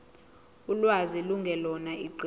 ulwazi lungelona iqiniso